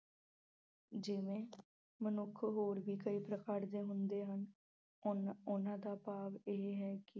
ਜਿਵੇਂ ਮਨੁੱਖ ਹੋਰ ਵੀ ਕਈ ਪ੍ਰਕਾਰ ਦੇ ਹੁੰਦੇ ਹਨ। ਅਹ ਉਹਨਾਂ ਦਾ ਭਾਵ ਇਹ ਹੈ ਕਿ